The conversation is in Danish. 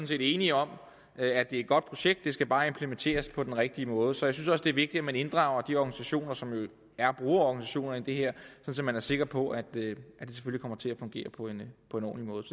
set enige om at det er et godt projekt det skal bare implementeres på den rigtige måde så jeg synes også det er vigtigt at man inddrager de organisationer som er brugerorganisationer i det her så man er sikker på at det kommer til at fungere på en på en ordentlig måde